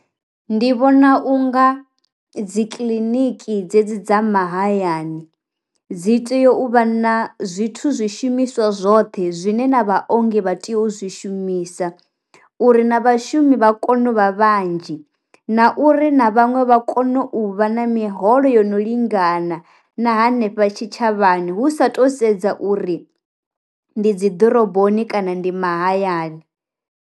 Ndi vhona unga dzi kiḽiniki dze dzi dza mahayani dzi tea u vha na zwithu zwi shumiswa zwoṱhe zwine na vha ongi vha tea u zwi shumisa, uri na vhashumi vha kone u vha vhanzhi na uri na vhaṅwe vha kone u vha na miholo yono lingana na hanefha tshi tshavhani hu sa to sedza uri ndi dzi ḓoroboni kana ndi mahayani.